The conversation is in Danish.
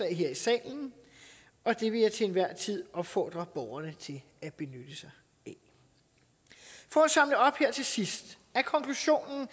her i salen og det vil jeg til enhver tid opfordre borgerne til at benytte sig af for at samle op her til sidst er konklusionen